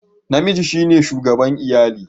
Namiji shine shugaban iyali